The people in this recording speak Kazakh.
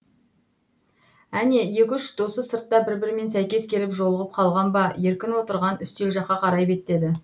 әне екі үш досы сыртта бір бірімен сәйкес келіп жолығып қалған ба еркін отырған үстел жаққа қарай беттеді